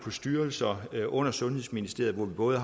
styrelser under sundhedsministeriet med både